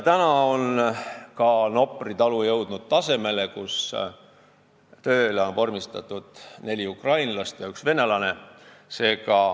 Tänaseks on ka Nopri talu jõudnud tasemele, kus tööle on vormistatud neli ukrainlast ja üks venelane.